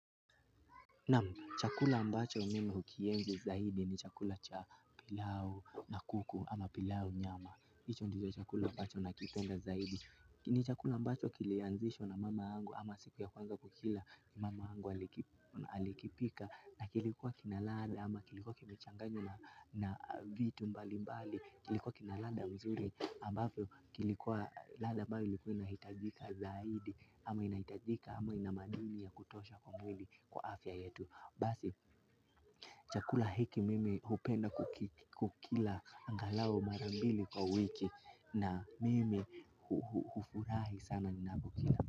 Naam, chakula ambacho mimi hukienzi zaidi ni chakula cha pilau na kuku ama pilau nyama. Hicho ndicho chakula ambacho nakipenda zaidi. Ni chakula ambacho kilianzishwa na mama yangu ama siku ya kwanza kukila mamangu alikipika. Na kilikuwa kinaladha ama kilikuwa kimechanganywa na vitu mbali mbali. Kilikuwa kina ladha mzuri ambapo kilikuwa ladha bado ilikuwa inahitajika zaidi. Ama inahitajika, ama ina madini ya kutosha kwa mwili kwa afya yetu. Basi, chakula hiki mimi hupenda kukila angalau mara mbili kwa wiki. Na mimi hufurahi sana ninapokila.